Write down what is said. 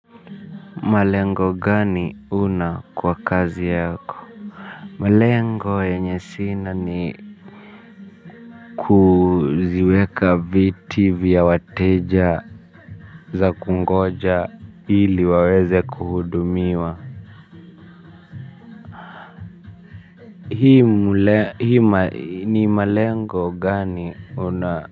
Malengo gani huna kwa kazi yako. Malengo yenye sina ni kuziweka viti vya wateja za kungoja. Ili waweze kuhudumiwa. Hii ni malengo gani una.